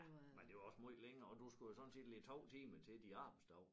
Ja men det var også måj længere og du skulle jo sådan set lægge 2 timer til din arbejdsdag